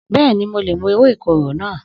Bẹ́ẹ̀ni, mo lè mu ewé ìkorò náà